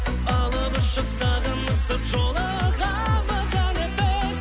алып ұшып сағынысып жолығамыз әлі біз